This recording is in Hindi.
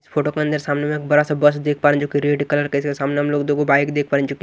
फोटो के अंदर सामने में एक बड़ा सा बस देख पा रहे हैं जो कि रेड कलर का इसके सामने हम लोग दोगो बाइक देख पा रहे हैं जो की --